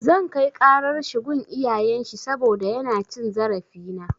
Zan kai ƙarar shi gun iyayen shi saboda yana cin zarafina.